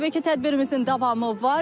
Təbii ki, tədbirimizin davamı var.